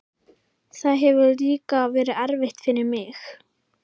Það hefur líka verið erfitt fyrir mig.